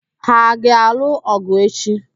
Ha a ga-alụ ọ̀gụ̀ echi?